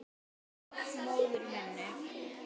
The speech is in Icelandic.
Og móður minni.